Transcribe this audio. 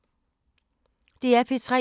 DR P3